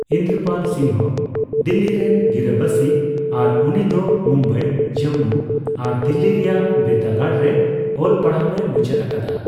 ᱤᱱᱫᱚᱨᱯᱟᱞ ᱥᱤᱝᱦᱚ ᱫᱤᱞᱞᱤ ᱨᱮᱱ ᱜᱤᱨᱟᱹᱵᱟᱹᱥᱤ, ᱟᱨ ᱩᱱᱤ ᱫᱚ ᱢᱩᱢᱵᱟᱭ, ᱡᱚᱢᱢᱩ ᱟᱨ ᱫᱤᱞᱞᱤ ᱨᱮᱭᱟᱜ ᱵᱤᱨᱫᱟᱹᱜᱟᱲ ᱨᱮ ᱚᱞ ᱯᱟᱲᱦᱟᱜᱼᱮ ᱢᱩᱪᱟᱹᱫ ᱟᱠᱟᱫᱟ ᱾